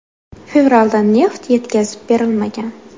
Fevralda neft yetkazib berilmagan.